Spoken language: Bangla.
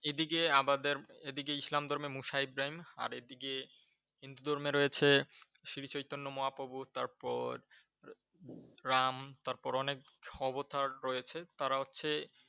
এদিকে আমাদের এদিকে ইসলাম ধর্মে মোসা ইব্রাহিম, আর এদিকে হিন্দু ধর্মে রয়েছে শ্রী চৈতন্য মহাপ্রভু তারপর রাম তারপর অনেক অবতার রয়েছে। তারা হচ্ছে